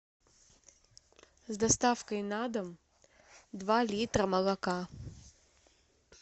с доставкой на дом два литра молока